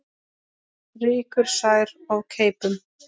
Rýkur sær of keipum.